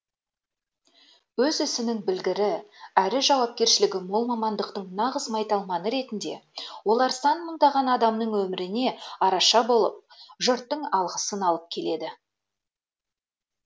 өз ісінің білгірі әрі жауапкершілігі мол мамандықтың нағыз майталманы ретінде олар сан мыңдаған адамның өміріне араша болып жұрттың алғысын алып келеді